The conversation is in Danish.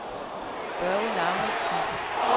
Børge Lauridsen